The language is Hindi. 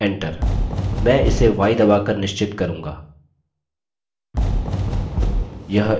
enter मैं इसे y दबा कर निश्चित करूँगा